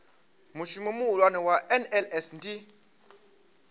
mushumo muhulwane wa nls ndi